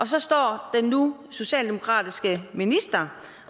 så står den nu socialdemokratiske minister